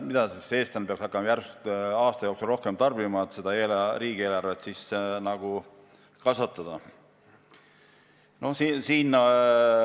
Mida siis eestlased peaks hakkama järsult tarbima, et riigieelarvet kasvata?